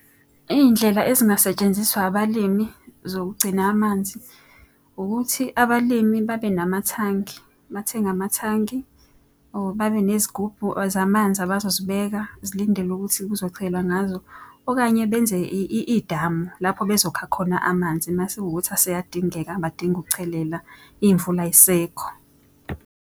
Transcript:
Iy'ndlela ezingasetshenziswa abalimi zokugcina amanzi, ukuthi abalimi babe namathangi bathenge amathangi. Or babe nezigubhu zamanzi abazozibeka zilindele ukuthi kuzochelwa ngazo. Okanye benze idamu lapho bezokha khona amanzi uma sekuwukuthi aseyadingeka badinga ukuchelela iy'mvula ay'sekho.